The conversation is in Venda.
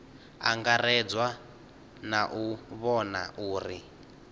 angaredzwa na u vhona uri